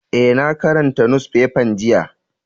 Eh, na karanta nusfefan jiya.